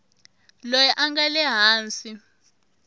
loyi a nga le hansi